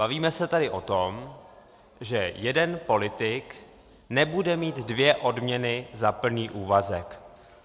Bavíme se tady o tom, že jeden politik nebude mít dvě odměny za plný úvazek.